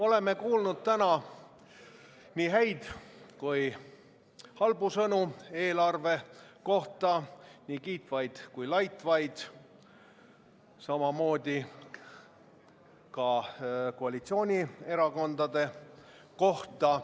Oleme kuulnud täna nii häid kui ka halbu sõnu eelarve kohta, nii kiitvaid kui ka laitvaid sõnu, samamoodi ka koalitsioonierakondade kohta.